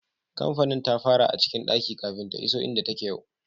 Kampanin ta fara a cikin daki kafin ta iso inda take yau.